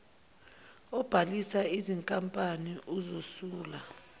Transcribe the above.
obhalisa izinkampani uzosula